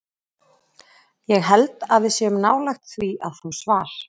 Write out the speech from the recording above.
Ég held að við séum nálægt því að fá svar.